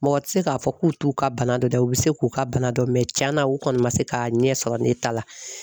Mɔgɔ tɛ se k'a fɔ k'u t'u ka bana dɔ dɔn u bɛ se k'u ka bana dɔ mɛ tiɲana u kɔni ma se k'a ɲɛ sɔrɔ ne ta la